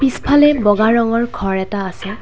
পিছফালে বগা ৰঙৰ ঘৰ এটা আছে।